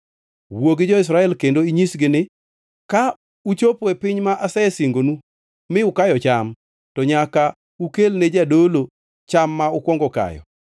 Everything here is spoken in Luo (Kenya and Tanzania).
“Wuo gi jo-Israel kendo inyisgi ni: ‘Ka uchopo e piny ma asesingonu mi ukayo cham, to nyaka ukelne jadolo cham ma ukwongo kayo.